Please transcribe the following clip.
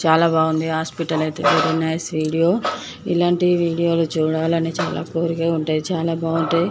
చాల బాగుంది hospital very nice . ఇలాంటి వీడియో లు చూడాలంటే చాలా కోరికగా ఉంటాయి. చాలా బాగుంటాయి.